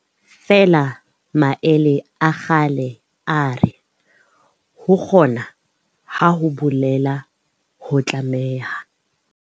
Feela maele a kgale a re, ho kgona, ha ho bolele ho tlameha.